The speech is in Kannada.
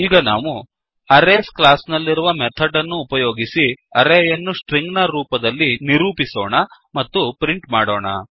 ಈಗ ನಾವು ಅರೇಸ್ ಕ್ಲಾಸ್ ನಲ್ಲಿರುವ ಮೆಥಡ್ ಅನ್ನು ಉಪಯೋಗಿಸಿ ಅರೇಯನ್ನು ಸ್ಟ್ರಿಂಗ್ ನ ರೂಪದಲ್ಲಿ ನಿರೂಪಿಸೋಣ ಮತ್ತು ಪ್ರಿಂಟ್ ಮಾಡೋಣ